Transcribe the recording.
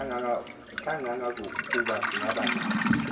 kangangokuba singabi nabo